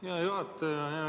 Hea juhataja!